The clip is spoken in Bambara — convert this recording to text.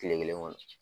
Kile kelen kɔnɔ